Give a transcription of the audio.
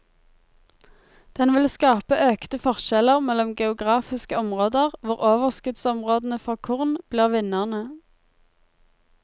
Den vil skape økte forskjeller mellom geografiske områder, hvor overskuddsområdene for korn blir vinnerne.